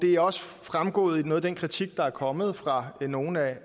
er også fremgået af noget af den kritik der er kommet fra nogle af